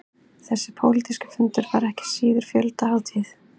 Þessi pólitíski fundur var ekki síður fjöldahátíð